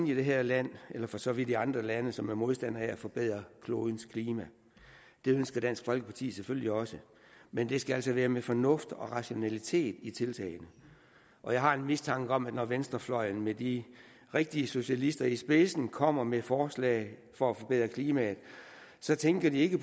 i det her land eller for så vidt i andre lande som er modstandere af at forbedre klodens klima det ønsker dansk folkeparti selvfølgelig også men det skal altså være med fornuft og rationalitet i tiltagene og jeg har en mistanke om at når venstrefløjen med de rigtige socialister i spidsen kommer med forslag for at forbedre klimaet så tænker de ikke